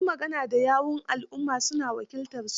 Ma su magana da yawun alumma, su na wakiltarsu.